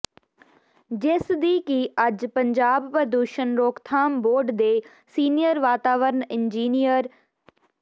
ਜਿਸ ਦੀ ਕਿ ਅੱਜ ਪੰਜਾਬ ਪ੍ਰਦੂਸ਼ਣ ਰੋਕਥਾਮ ਬੋਰਡ ਦੇ ਸੀਨੀਅਰ ਵਾਤਾਵਰਨ ਇੰਜੀਨੀਅਰ ਸ੍ਰ